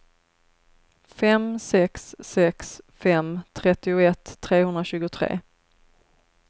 fem sex sex fem trettioett trehundratjugotre